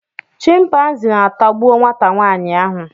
chịmpaizịn atagbuo nwata nwaanyị ahụ